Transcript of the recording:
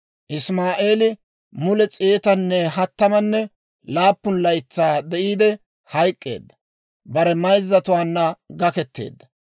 Isimaa'eeli mule s'eetanne hattamanne laappun laytsaa de'iide, hayk'k'eedda; bare mayzzatuwaanna gaketteedda.